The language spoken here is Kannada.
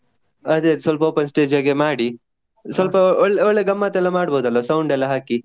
ಅದೇ ಅದೇ ಸ್ವಲ್ಪ open stage ಹಾಗೆ ಮಾಡಿ. ಸ್ವಲ್ಪ ಒಳ್ಳೆ ಒಳ್ಳೆ ಗಮತ್ತ್ ಎಲ್ಲ ಮಾಡ್ಬೋದಲ್ಲ sound ಎಲ್ಲಾ ಹಾಕಿ.